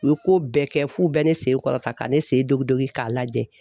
U ye ko bɛɛ kɛ f'u bɛ ne sen kɔrɔta ka ne sen don k'a lajɛ.